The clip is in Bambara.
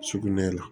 Sugunɛ la